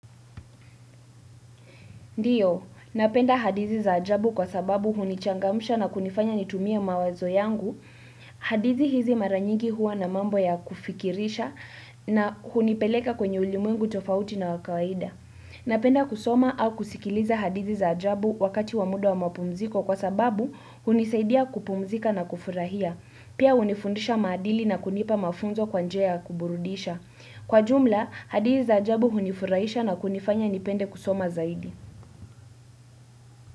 Ndiyo, napenda hadizi za ajabu kwa sababu hunichangamsha na kunifanya nitumie mawazo yangu. Hadhizi hizi mara nyigi huwa na mambo ya kufikirisha na hunipeleka kwenye ulimuengu tofauti na wa kawaida. Napenda kusoma au kusikiliza hadithi za ajabu wakati wa muda wa mapumziko kwa sababu hunisaidia kupumzika na kufurahia. Pia unifundisha maadili na kunipa mafunzo kwa njia ya kuburudisha. Kwa jumla, hadizi za ajabu hunifurahisha na kunifanya nipende kusoma zaidi.